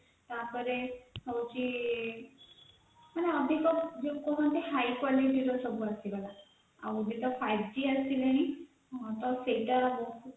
ତା ପରେ ହଉଛି ଯେକୌଣସି ଗୋଟେ high quality ର ଯେତେବେଳେ five g ଆସିଲା ସେତେବେଳେ ଗୋଟେ